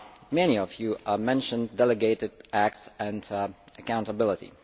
Many of you mentioned delegated acts and accountability.